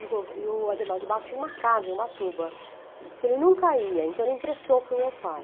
E o gover e o Adhemar de Barros tinha uma casa em Ubatuba, que ele nunca ia, então ele emprestou para o meu pai.